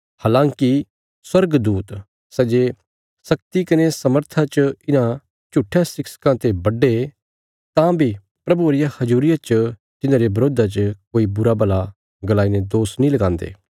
हलाँकि स्वर्गदूत सै जे शक्ति कने सामर्था च इन्हां झुट्ठयां शिक्षकां ते बड्डे तां बी प्रभुये रिया हजूरिया च तिन्हांरे बिरोधा च कोई बुराभला गलाई ने दोष नीं लगान्दे